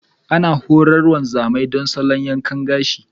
Ana horar wanzamai don salo yankan gashi.